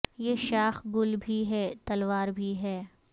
یہ شا خ گل بھی ہے تلو ا ر بھی ہے